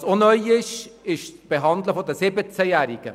Was auch neu ist, ist die Behandlung der 17-Jährigen.